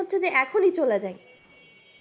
করছে যে এখনই চলে যাই